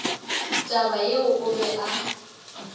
taba yeo o be a